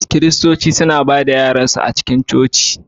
Kiristoci suna ba da yaransu suna a cikin coci.